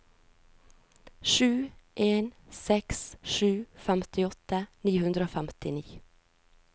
sju en seks sju femtiåtte ni hundre og femtini